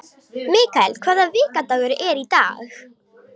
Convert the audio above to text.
Mikael, hvaða vikudagur er í dag?